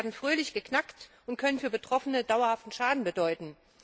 Sie werden fröhlich geknackt und können für Betroffene dauerhaften Schaden bedeuten.